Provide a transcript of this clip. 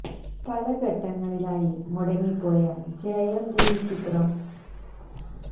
പലഘട്ടങ്ങളിലായി മുടങ്ങിപ്പോയ ജയം രവി ചിത്രം ഭൂലോകം ഒടുവിൽ തടസ്സങ്ങളെല്ലാം മറികടന്ന് പ്രദർശനത്തിനെത്തുന്നു